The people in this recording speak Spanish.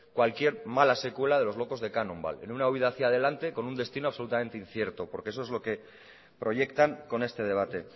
cualquier mala secuela de los locos de cannonball en una huída hacia adelante con un destino absolutamente incierto porque eso es lo que proyectan con este debate